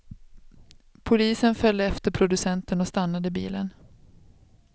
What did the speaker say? Polisen följde efter producenten och stannade bilen.